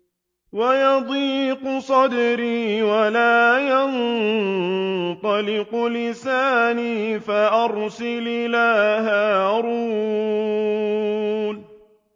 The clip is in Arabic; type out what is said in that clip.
وَيَضِيقُ صَدْرِي وَلَا يَنطَلِقُ لِسَانِي فَأَرْسِلْ إِلَىٰ هَارُونَ